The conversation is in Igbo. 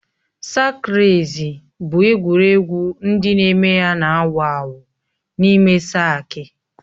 Sak reci bụ egwuregwu ndị na-eme ya na-awụ awụ n'ime saki